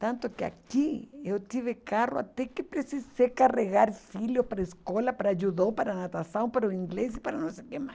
Tanto que aqui eu tive carro até que precisei carregar filhos para a escola, para judô, para natação, para o inglês e para não sei o que mais.